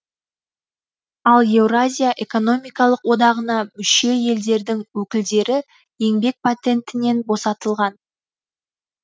ал еуразия экономикалық одағына мүше елдердің өкілдері еңбек патентінен босатылған